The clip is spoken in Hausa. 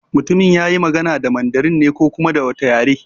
Mutumin yayi magana da Mandarin ne ko kuma da wata yare?